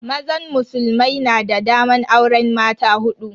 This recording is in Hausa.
Mazan musulmai na da daman auren mata hudu.